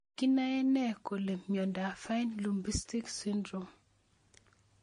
Kinae nee kole miondop Fine Lubinsky syndrome